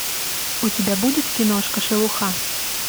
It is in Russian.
у тебя будет киношка шелуха